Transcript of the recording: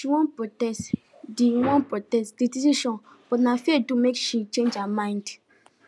she wan protest the wan protest the decision but na fear do make she change her mind